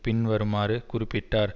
பின் வருமாறு குறிப்பிட்டார்